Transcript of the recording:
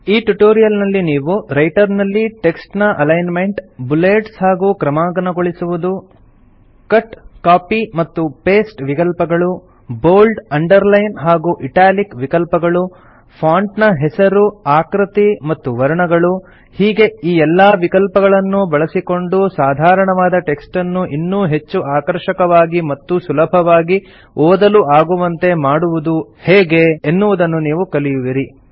ಈ ಟ್ಯುಟೋರಿಯಲ್ ನಲ್ಲಿ ನೀವು ರೈಟರ್ ನಲ್ಲಿ ಟೆಕ್ಸ್ಟ್ ನ ಅಲೈನ್ಮೆಂಟ್ ಬುಲೆಟ್ಸ್ ಹಾಗೂ ಕ್ರಮಾಂಕನಗೊಳಿಸುವುದು ಕಟ್ ಕಾಪಿ ಮತ್ತು ಪೇಸ್ಟ್ ವಿಕಲ್ಪಗಳು ಬೋಲ್ಡ್ ಅಂಡರ್ ಲೈನ್ ಹಾಗೂ ಇಟಾಲಿಕ್ ವಿಕಲ್ಪಗಳು ಫಾಂಟ್ ನ ಹೆಸರು ಆಕೃತಿ ಮತ್ತು ವರ್ಣಗಳು ಹೀಗೆ ಈ ಎಲ್ಲಾ ವಿಕಲ್ಪಗಳನ್ನೂ ಬಳಸಿಕೊಂಡು ಸಾಧಾರಣವಾದ ಟೆಕ್ಸ್ಟನ್ನು ಇನ್ನೂ ಹೆಚ್ಚು ಆಕರ್ಷಕವಾಗಿ ಮತ್ತು ಸುಲಭವಾಗಿ ಓದಲು ಆಗುವಂತೆ ಮಾಡುವುದು ಹೇಗೆ ಎನ್ನುವುದನ್ನು ಕಲಿಯುವಿರಿ